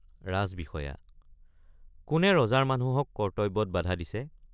ৰাজবিষয়া—কোনে ৰজাৰ মানুহক কৰ্ত্তব্যত বাধা দিছে।